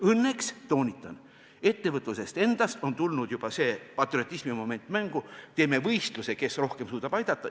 Õnneks, toonitan, ettevõtluses endas on tulnud juba patriotismimoment mängu: teeme võistluse, kes rohkem suudab aidata.